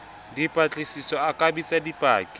dipatlisisong a ka bitsa dipaki